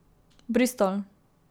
Bristol.